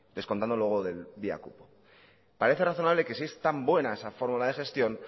descontándolo luego de él vía cupo parece razonable que si es tan buena esa fórmula de gestión